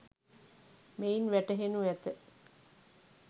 මෙයින් වැටහෙනු ඇත